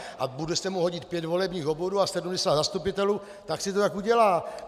A bude se mu hodit pět volebních obvodů a 70 zastupitelů, tak si to tak udělá.